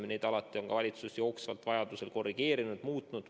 Ja neid reegleid on valitsus vajadusel jooksvalt korrigeerinud, muutnud.